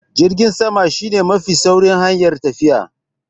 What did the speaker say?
Jirgin sama shi ne mafi saurin hanyar tafiya.